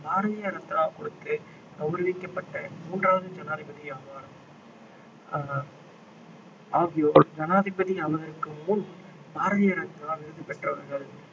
பாரதிய ரத்னா கொடுத்து கௌரவிக்கப்பட்ட மூன்றாவது ஜனாதிபதியாவார் ஆஹ் ஆகியோர் ஜனாதிபதி ஆவதற்கு முன் பாரதிய ரத்னா விருது பெற்றவர்கள்